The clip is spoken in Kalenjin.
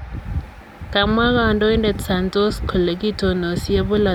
Kamwa kandoidet Santos kole kitonosie bolotonaton en kemout ab chumatatu.